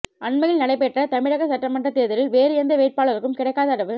அண்மையில் நடைப்பெற்ற தமிழக சட்டமன்றத் தேர்தலில் வேறு எந்த வேட்பாளருக்கும் கிடைக்காத அளவு